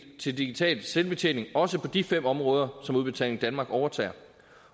til digital selvbetjening også på de fem områder som udbetaling danmark overtager